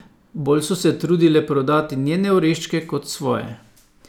Bolj so se trudile prodati njene oreščke kot svoje.